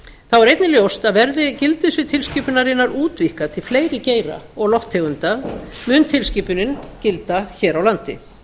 þá er einnig ljóst að verði gildissvið tilskipunarinnar útvíkkað til fleiri geira og lofttegunda mun tilskipunin gilda hér á landi